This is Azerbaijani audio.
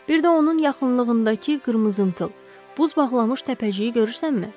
Bir də onun yaxınlığındakı qırmızımtıl, buz bağlamış təpəciyi görürsənmi?